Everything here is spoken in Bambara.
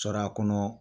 Sɔrɔ a kɔnɔ